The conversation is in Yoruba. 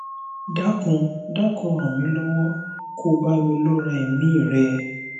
dákun dákun ràn mí lọwọ ko bá mi lọre èmí i rẹ